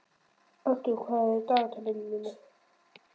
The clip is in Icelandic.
Arthur, hvað er í dagatalinu í dag?